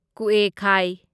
ꯀꯨꯑꯦꯈꯥꯢ